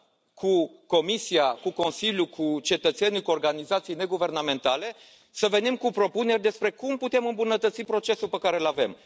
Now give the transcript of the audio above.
cu Comisia, cu Consiliul, cu cetățenii, cu organizații neguvernamentale, să venim cu propuneri despre cum putem îmbunătăți procesul pe care îl avem.